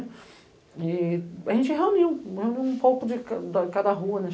E a gente reuniu, reuniu um pouco de cada rua, né?